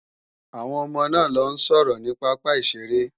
Àwọn ọmọ náà ń lọ sọ̀rọ̀ ní pápá ìṣeré